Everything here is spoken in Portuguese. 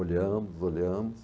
Olhamos, olhamos.